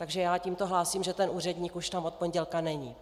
Takže já tímto hlásím, že ten úředník tam už od pondělka není.